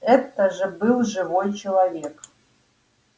это же был живой человек